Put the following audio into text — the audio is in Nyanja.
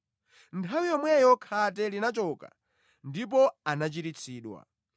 Nthawi yomweyo khate linachoka ndipo anachiritsidwa.